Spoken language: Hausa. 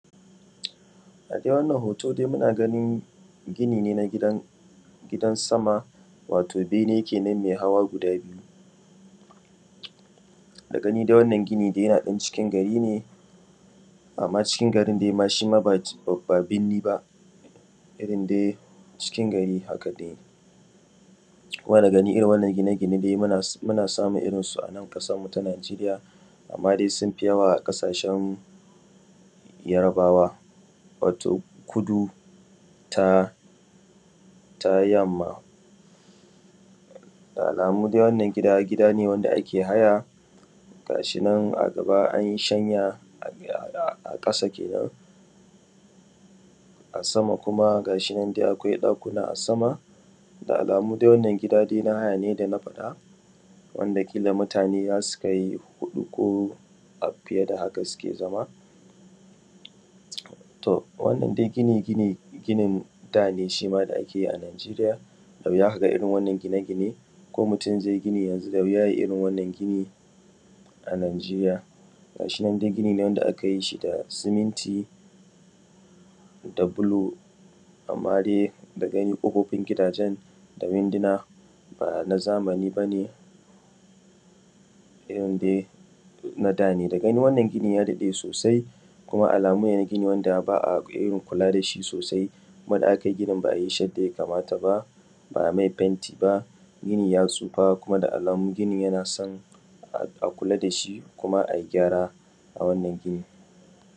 A dai wannan hoto muna ganin gine na gidan sama wato bene kenan mai hawa guda biyu. Da gani dai wannan gini yana ɗan cikin gari ne, amma cikin gari ɗai shima ba ma birni ba irin dai cikin gari haka dai. Kuma da gani irin wannan gine-gine dai muna samun irin su a ƙasanmu ta Najeriya amma dai sun fi yawa a ƙasashen Yarbawa wato kudu ta yamma. Da alamu dai wannan gida, gida ne na haya, ga shi nan dai an ɗaga an yi shanya a ƙasa kenan a samu kuma ga shi nan dai akwai ɗakuna a sama, da alamu dai wannan gida na haya ne kamar yadda na faɗa. Wanda kila mutane zasu kai huɗu ko fiye da haka suke zama. To wannan dai gini gini ne shima da ake yi a Najeriya, da wuya ka ga irin wannan gine-gine ko mutum zai gina yanzu, da wuya ya yi irin wannan gini a Najeriya. Ga shi nan dai gini ne wanda aka yi shi da siminti da bulo amma dai kofofin da windows ɗin ba na zamani bane na danne. Da gani dai wannan gini ya daɗe sosai, gine ne wanda ba a irin kula da shi sosai kuma ba a yi ginin irin yanda ya kamata ba, ba a mai fenti ba, kuma da alamu ginin ya tsufa, yana so a kula da shi kuma a yi gyara a wannan gini.